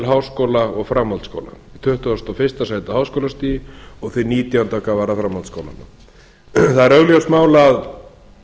háskóla og framhaldsskóla tuttugasta og fyrsta sæti á háskólastigi og nítjánda hvað varðar framhaldsskólana það er augljóst mál að